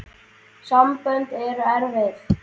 Sambönd eru erfið!